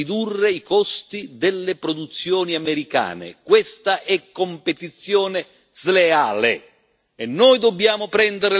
Questa è competizione sleale e noi dobbiamo prendere le contromisure, che significa anche pensare a dazi.